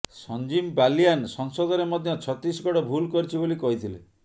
ସଂଜୀବ ବାଲିୟାନ ସଂସଦରେ ମଧ୍ୟ ଛତିଶଗଡ ଭୁଲ କରିଛି ବୋଲି କହିଥିଲେ